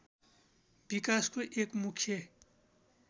विकासको एक मुख्य